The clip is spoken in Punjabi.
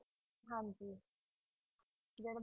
ਹਾਂਜੀ